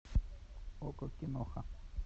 окко киноха